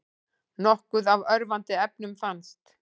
Nokkuð af örvandi efnum fannst